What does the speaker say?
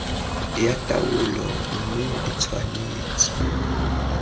ya taolo mme e tshwanetse